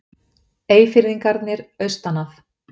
Eyfirðingarnir austan að.